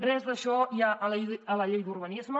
res d’això hi ha a la llei d’urbanisme